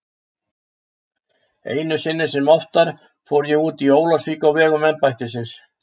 Einu sinni sem oftar fór ég út í Ólafsvík á vegum embættisins.